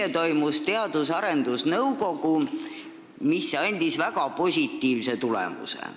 Eile toimus Teadus- ja Arendusnõukogu istung, mis andis väga positiivse tulemuse.